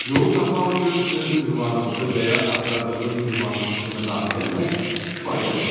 Yolu tapmaq üçün öz ünvanınızı və ya axtardığınız ünvanı sistemə daxil eləmək kifayətdir.